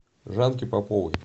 жанки поповой